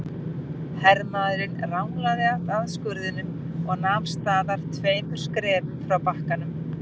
Hermaðurinn ranglaði að skurðinum og nam staðar tveimur skrefum frá bakkanum.